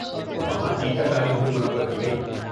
وہاں ٹیکہ کاری مہم منعقد کی گئی۔